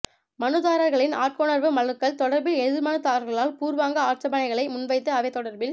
மனுதாரர்களின் ஆட்கொணர்வு மனுக்கள் தொடர்பில் எதிர்மனுதாரர்களால் பூர்வாங்க ஆட்சேபனைகளை முன்வைத்து அவை தொடர்பில்